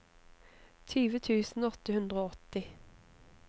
tjue tusen åtte hundre og åtti